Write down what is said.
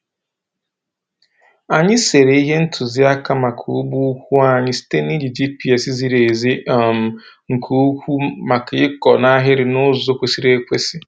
Anyị sere ihe ntụziaka maka ugbo ukwu anyị site na iji GPS ziri ezi um nke ukwuu maka ịkọ n’ahịrị n'ụzọ kwesịrị ekwesị.